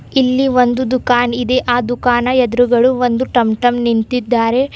ಇಲ್ಲಿ ಒಂದು ದುಕಾನ ಇದೆ ಆ ದುಕಾನ್ನ ಎದುರುಗಳು ಒಂದು ಟಂ ಟಂ ನಿಂತಿದ್ದಾರೆ.